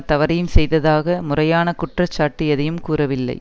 தவறையும் செய்ததாக முறையான குற்றச்சாட்டு எதையும் கூறவில்லை